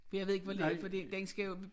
For jeg ved ikke hvor længe fordi den skal jo